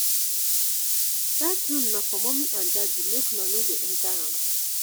dat room na for mummy and daddy make una no dey enta am.